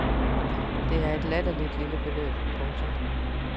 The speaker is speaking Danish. Det er et latterligt lille beløb. punktum